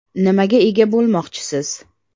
Nimaga ega bo‘lmoqchisiz?